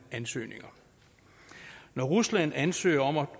ansøgninger når rusland ansøger om at